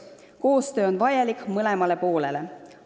Koostöö on vajalik mõlemale poolele.